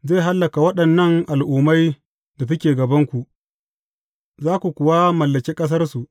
Zai hallaka waɗannan al’ummai da suke gabanku, za ku kuwa mallaki ƙasarsu.